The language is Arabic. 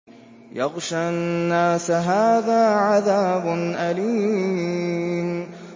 يَغْشَى النَّاسَ ۖ هَٰذَا عَذَابٌ أَلِيمٌ